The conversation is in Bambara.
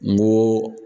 N ko